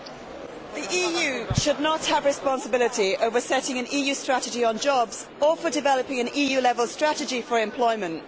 Mr President, the EU should not have responsibility over setting an EU strategy on jobs or for developing an EU level strategy for employment.